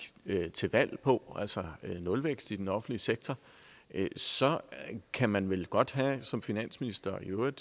til valg på altså nulvækst i den offentlige sektor så kan man vel godt som finansminister og i øvrigt